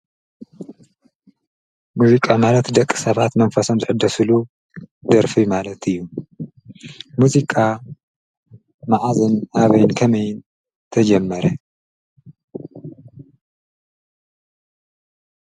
ሙዚቃ ማለት ደቂ ሰባት ኣብ እዋን ሓጎስ ኮነ ኣብ እዋን ሓዘን እንጥቀመሉ ናይ መንፈስ መሳርሒ እዩ።